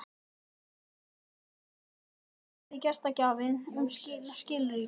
Þegar hér var komið spurði gestgjafinn um skilríki.